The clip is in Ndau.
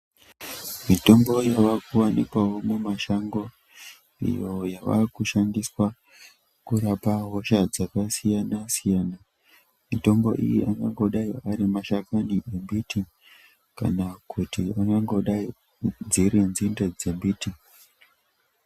Mitombo yavakuwanikwawo mumashango iyo yavakushandiswa kurapa hosha dzakasiyana siyana. Mitombo iyi inongodai ari mashakani embiti kana kuti unongodai dziri nzinde dzemiti.